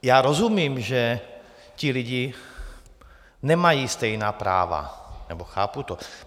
Já rozumím, že ti lidé nemají stejná práva, nebo chápu to.